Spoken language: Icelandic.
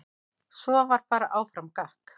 Svo var bara áfram gakk.